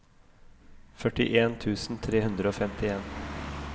førtien tusen tre hundre og femtien